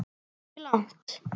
Ekki langt.